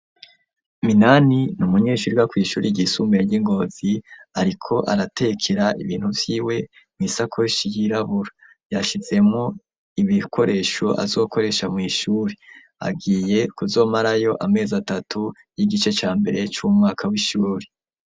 Minani n’umunyeshuri wiga kw'ishuri gisumbuye ry'ingozi, ariko aratekera ibintu vyiwe mw'isakoshi y'irabura yashizemo ibikoresho azokoresha mw'ishuri agiye kuzomarayo amezi atatu y'igice ca mbere c'umwaka w'ishuri.